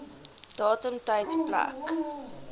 datum tyd plek